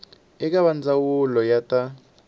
eka va ndzawulo ya ta